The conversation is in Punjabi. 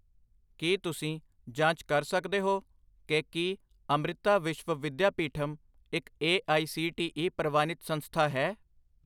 ਕੀ ਤੁਸੀਂ ਜਾਂਚ ਕਰ ਸਕਦੇ ਹੋ ਕਿ ਕੀ ਅਮ੍ਰਿਤਾ ਵਿਸ਼ਵ ਵਿਦਿਆਪੀਠਮ ਇੱਕ A I C T E ਪ੍ਰਵਾਨਿਤ ਸੰਸਥਾ ਹੈ?